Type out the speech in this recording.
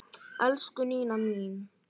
Elsku Nína mín.